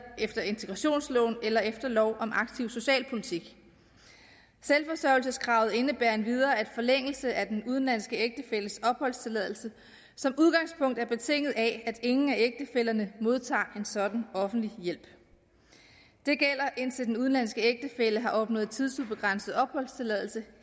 efter integrationsloven eller efter lov om aktiv socialpolitik selvforsørgelseskravet indebærer endvidere at forlængelse af den udenlandske ægtefælles opholdstilladelse som udgangspunkt er betinget af at ingen af ægtefællerne modtager en sådan offentlig hjælp det gælder indtil den udenlandske ægtefælle har opnået tidsubegrænset opholdstilladelse